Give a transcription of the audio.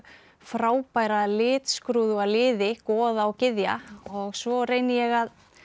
frábæra litskrúðuga liði goða og gyðja og svo reyni ég að